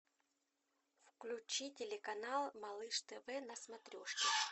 включи телеканал малыш тв на смотрешке